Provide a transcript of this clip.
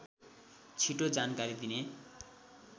छिटो जानकारी दिने